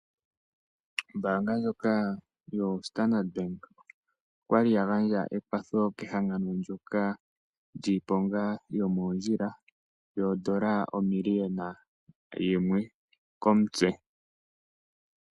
Ombaanga ndjoka yoStandard Bank okwali yagandja ekwatho kehangano ndyoka lyiiponga yomoondjila yoondola omilliona yimwe komutse.